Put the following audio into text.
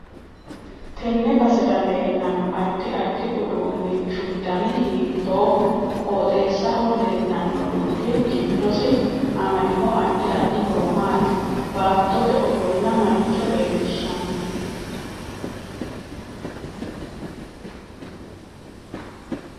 Tenne basera leelanno addi addi uduunichu dani hiitooho qoxeesaho leelanno dubbi giddosi amadino addi addi horo maati baatote ofolla maricho leelishanno